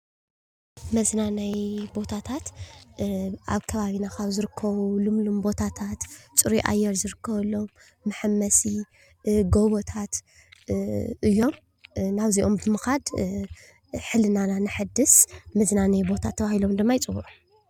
መዝናነይ ቦታታት ኣብ ከባቢና ብዝርከቡ ቦታት ፁሩይ ኣየር ዝርከበሎም መሐመሲ ፣ጎቦታት እዮም። ናብዚኦም ብምኻድ ሕሊናና ነሐድስ መዝናነይ ቦታ ተባሂሎም ድማ ይፅውዑ።